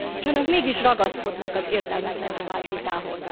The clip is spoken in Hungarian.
És Önök mégis ragaszkodnak az értelmetlenné vált vitához.